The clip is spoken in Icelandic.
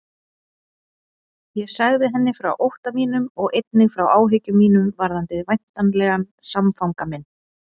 Ég sagði henni frá ótta mínum og einnig frá áhyggjum mínum varðandi væntanlegan samfanga minn.